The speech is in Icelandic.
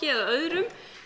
eða öðrum